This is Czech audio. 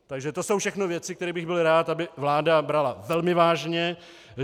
Takže to jsou všechno věci, které bych byl rád, aby vláda brala velmi vážně.